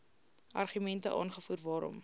argumente aangevoer waarom